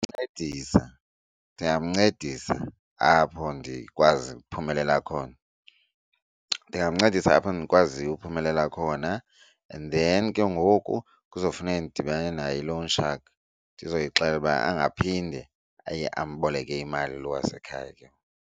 Ncedisa, ndingamncedisa apho ndikwazi ukuphumelela khona. Ndingamncedisa apho ndikwaziyo ukuphumelela khona and then ke ngoku kuzofuneka ndidibene nayo i-loan shark ndizoyixelela uba angaphinde amboleka imali lo wasekhaya ke.